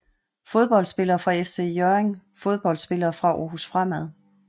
Fodboldspillere fra FC Hjørring Fodboldspillere fra Aarhus Fremad